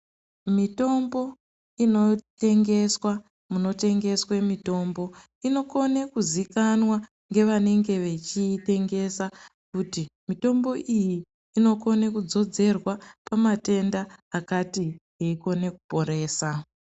Mitombo inotengeswa munotengeswe mitombo inokone kuziikanwa ngevanenge vechiitengesa, kuti mitombo iyi inokone kudzodzerwa pamatenda akati, yeikone kuporesa.